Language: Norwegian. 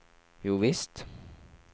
jovisst